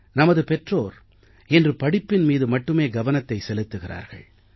நமது பெற்றோர் இன்று படிப்பின் மீது மட்டுமே கவனத்தை செலுத்துகிறார்கள்